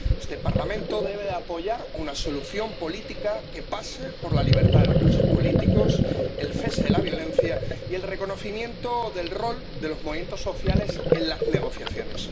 Este Parlamento debe apoyar una solución política que pase por la libertad de los presos políticos, el cese de la violencia y el reconocimiento del rol de los movimientos sociales en las negociaciones.